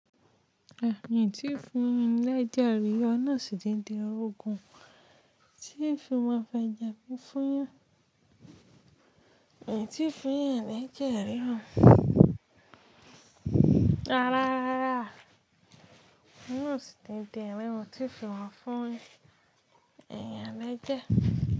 N tíì fún ní l'ẹ́jẹ̀ rí, ọlọ́run ò sì ní jẹ́ n rogún ti ń fi máa fẹ̀jẹ̀ mi fúnyàn. N tíì fún èèyàn l'ẹ́jẹ̀ rí o. Rárá, Ọlọ́run ò sì ní jẹ́ n ri oun tí n fi máa fún èèyàn lẹ́jẹ̀